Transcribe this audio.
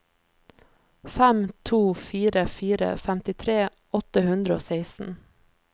fem to fire fire femtitre åtte hundre og seksten